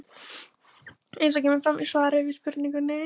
Eins og kemur fram í svari við spurningunni